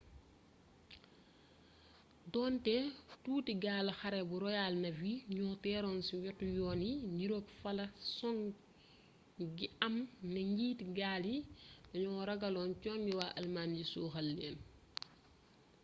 donte tuuti gaalu xare bu royal navy ñoo teeroon ci wetu yoon yi niroog fala song gi am ne njiiti gaal yi danoo ragaloon congi waa almaañ yi suuxal leen